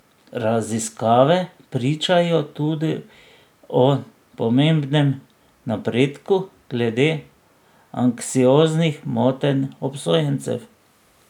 Raziskave pričajo tudi o pomembnem napredku glede anksioznih motenj obsojencev.